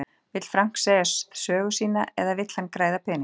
Vill Frank segja sögu sína eða vill hann græða pening?